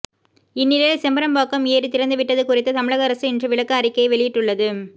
இந்நிலையில் செம்பரப்பாக்கம் ஏரி திறந்துவிட்டது குறித்து தமிழக அரசு இன்று விளக்க அறிக்கையை வெளியிட்டுள்ளது